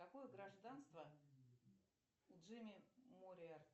какое гражданство у джимми мореа